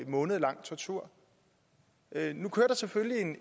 månedlang tortur nu kører der selvfølgelig